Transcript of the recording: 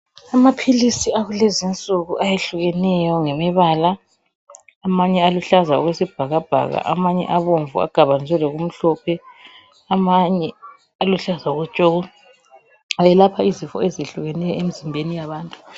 Amaphilisi akulezinsuku ayehlukeneyo ngemibala. Amanye aluhlaza okwesibhakabhaka, amanye abomvu agabaniswe lokumhlophe. Amanye aluhlaza tshoko. Ayelapha izifo ezitshiyeneyo emizimbeni yabantu.